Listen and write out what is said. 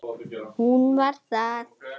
Hún var það.